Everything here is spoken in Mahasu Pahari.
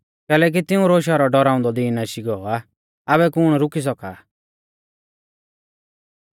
कैलैकि तिऊं रै रोशा रौ डौराउंदौ दिन आशी गौ आ आबै कुण रुकी सौका